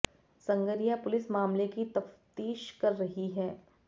Sangaria police मामले की तफ्तीश कर रही है